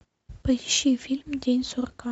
поищи фильм день сурка